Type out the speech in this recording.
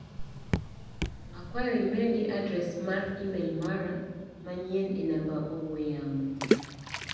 Akwayo imedi adres mar imel mara manyien e namba ong'ue yamo .